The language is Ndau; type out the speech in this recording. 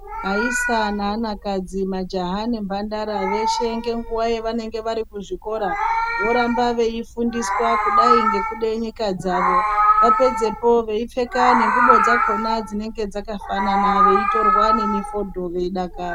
Aisa neanakadzi, majaha nemphandara, veshe ngenguwa yevanenge vari kuzvikora, voramba veifundiswa kudai ngekude nyika dzavo. Vapedzepo veipfeka nengubo dzakhona dzinenge dzakafanana, veitorwa nemifodho veidakara.